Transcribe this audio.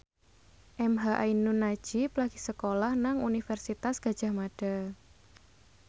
emha ainun nadjib lagi sekolah nang Universitas Gadjah Mada